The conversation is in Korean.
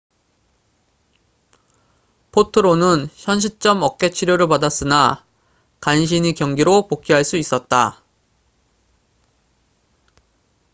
포트로는 현시점 어깨 치료를 받았으나 간신히 경기로 복귀할 수 있었다